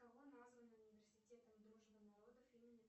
кого назван университетом дружбы народов имени